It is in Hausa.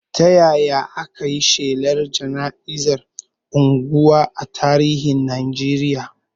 Ta yaya aka yi shelar jana'iza a unguwa a tarihin Najeriya?